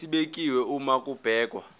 esibekiwe uma kubhekwa